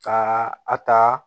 Ka a ta